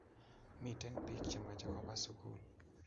miten pik che mache koba sukul